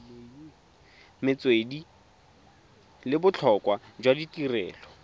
metswedi le botlhokwa jwa tirelo